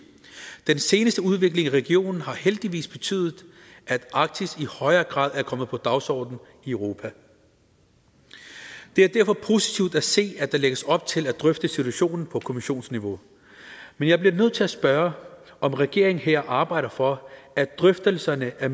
den seneste udvikling i regionen har heldigvis betydet at arktis i højere grad er kommet på dagsordenen i europa det er derfor positivt at se at der lægges op til at drøfte situationen på kommissionsniveau men jeg bliver nødt til at spørge om regeringen her arbejder for at drøftelserne er